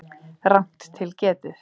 Rangt til getið